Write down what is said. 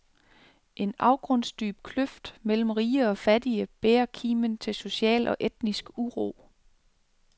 En afgrundsdyb kløft mellem rige og fattige bærer kimen til social og etnisk uro.